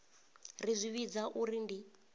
ri zwi vhidza uri ndi